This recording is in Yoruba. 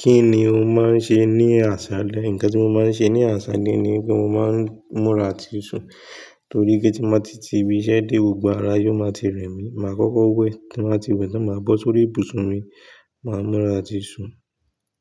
Kí ni o máa ń ṣe ní àsálẹ́? Ǹkan tí mo máa ń ṣe ní àsálẹ́ ni pé mo máa ń múra àti sùn, torí pé tí má tí ti ibi iṣẹ́ dé, gbogbo ara yóò máa ti rẹmí. Mà á kọ́kọ́ wẹ̀, tí mà á ti wẹ̀, tí mà á bọ́ sórí ibùsùn mi, mà á múra àti sùn